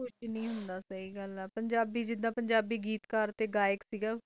ਕਕੁਜ ਨਹੀਂ ਹੁੰਦਾ ਸਾਈ ਗੱਲ ਹੈ ਪੰਜਾਬੀ ਗੀਤ ਕਰ ਤੇ ਗਾਇਕ